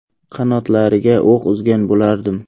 Qanotlariga o‘q uzgan bo‘lardim.